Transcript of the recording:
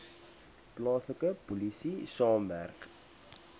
plaaslike polisie saamwerk